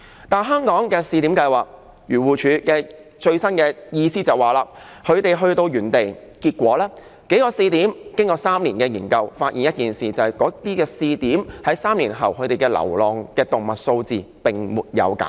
但是，根據漁護署最新的意思，香港的試點計劃顯示，將這些流浪動物放回原地後，經過3年研究，結果發現那些試點的流浪動物數字並沒有減少。